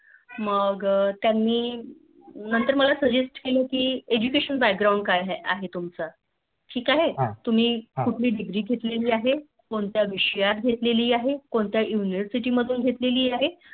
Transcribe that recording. मग त्यांनी नन्तर मला Suggest केलं Education background काय आहे तुमचं ठीक आहे तुम्ही कोणती Degree घेतली आहे कोणत्या विषयात घेतली आहे कोणत्या university मधून घेतली आहे